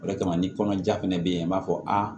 O de kama ni kɔnɔja fɛnɛ be yen an b'a fɔ a